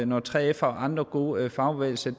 når 3f og andre gode fagbevægelser